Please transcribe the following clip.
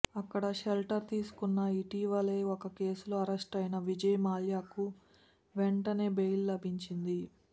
అక్కడ షెల్టర్ తీసుకున్నా ఇటీవలే ఒక కేసులో అరెస్టయిన విజయ్ మాల్యకు వెంటనే బెయిల్ లభించింది